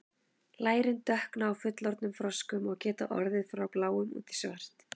lærin dökkna á fullorðnum froskum og geta orðið frá bláum út í svart